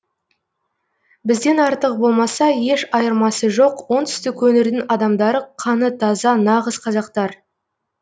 бізден артық болмаса еш айырмасы жоқ оңтүстік өңірдің адамдары қаны таза нағыз қазақтар